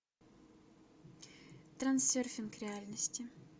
трансерфинг реальности